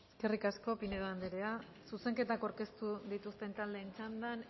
eskerrik asko pinedo anderea zuzenketak aurkeztu dituzten taldeen txandan